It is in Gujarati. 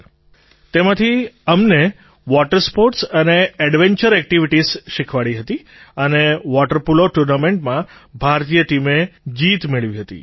સર તેમાંથી અમને વૉટર સ્પૉર્ટ્સ અને ઍડ્વેન્ચર એક્ટિવિટિઝ શીખવાડી હતી અને વૉટર પૉલો ટુર્નામેન્ટમાં ભારતીય ટીમે જીત મેળવી હતી